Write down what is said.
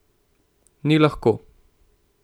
Ni lahko.